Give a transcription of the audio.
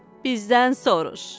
Bizdən soruş.